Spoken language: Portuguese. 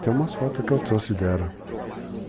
Tem umas fotos que eu trouxe dela.